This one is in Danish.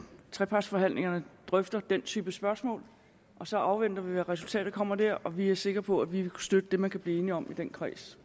trepartsforhandlingerne drøfter den type spørgsmål og så afventer vi hvad resultat der kommer der og vi er sikre på at vi vil støtte det man kan blive enige om i den kreds